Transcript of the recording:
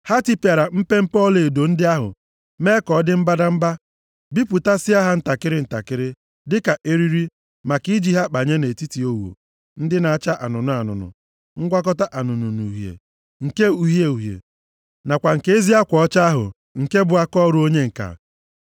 Ha tipịara mpempe ọlaedo ndị ahụ mee ka ọ dị mbadamba. Bipụtasịa ha ntakịrị ntakịrị dịka eriri maka i ji ha kpanye nʼetiti ogho ndị a na-acha anụnụ anụnụ; ngwakọta anụnụ na uhie, nke uhie uhie nakwa nke ezi akwa ọcha ahụ, nke bụ akaọrụ onye ǹka.